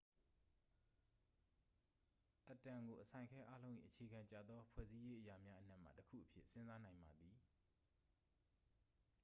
အက်တမ်ကို အစိုင်အခဲအားလုံး၏ အခြေခံကျသောဖွဲ့စည်းရေးအရာများအနက်မှတစ်ခုအဖြစ် စဉ်းစားနိုင်ပါသည်